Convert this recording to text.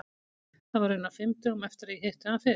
Það var raunar fimm dögum eftir að ég hitti hann fyrst.